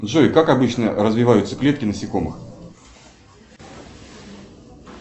джой как обычно развиваются клетки насекомых